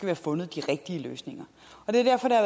have fundet de rigtige løsninger derfor er